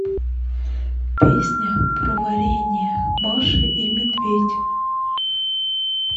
песня про варенье маша и медведь